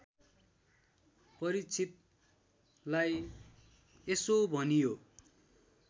परीक्षितलाई यसो भनियो